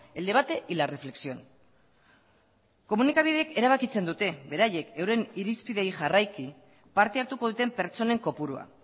el debate y la reflexión komunikabideek erabakitzen dute beraiek euren irizpideei jarraiki parte hartuko duten pertsonen kopurua